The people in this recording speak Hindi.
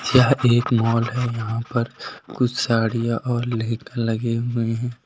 यह एक माल है यहां पर कुछ साड़ियां और लहंगे लगे हुए हैं।